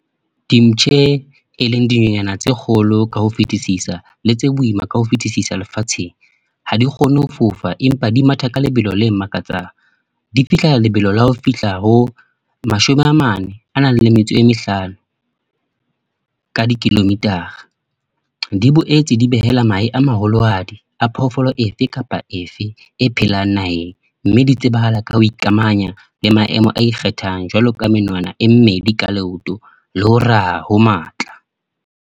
Dimpshe e leng dinonyana tse kgolo, ka ho fitisisa. Le tse boima ka ho fetisisa lefatsheng. Ha di kgone ho fofa, empa di matha ka lebelo le makatsang. Di fihlela lebelo la ho fihla ho, mashome a mane a nang le metso e mehlano, ka di-kilometer-a. Di boetse di behela mahe a maholohadi a phoofolo efe kapa efe e phelang naheng. Mme di tsebahala ka ho ikamanya le maemo a ikgethang. Jwalo ka menwana e mmedi ka leoto, le ho ra ho matla.